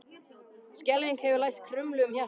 Skelfing hefur læst krumlu um hjartað.